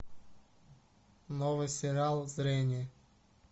новый сериал зрение